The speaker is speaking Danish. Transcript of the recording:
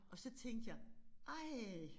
Og så tænkte jeg ej